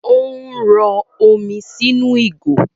Ò ń rọ omi sì inú jọ́ọ́gì